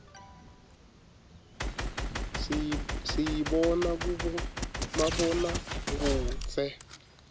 siyibona kubomabonakudze